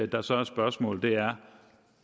der så er spørgsmålet er